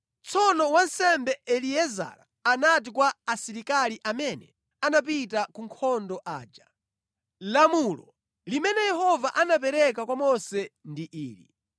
Tsono wansembe Eliezara anati kwa asilikali amene anapita ku nkhondo aja, “Lamulo limene Yehova anapereka kwa Mose ndi ili: